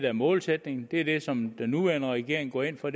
er målsætningen det er det som den nuværende regering går ind for